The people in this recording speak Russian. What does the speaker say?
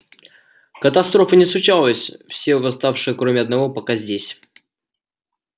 катастрофы не случилось все восставшие кроме одного пока здесь